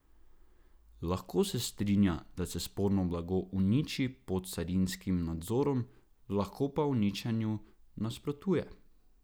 Lahko se strinja, da se sporno blago uniči pod carinskim nadzorom, lahko pa uničenju nasprotuje.